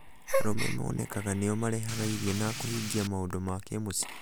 arũme monekaga nĩo marehaga irio na kũhingia maũndũ ma kĩmũciĩ.